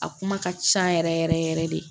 A kuma ka ca yɛrɛ yɛrɛ yɛrɛ yɛrɛ de